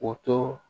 O to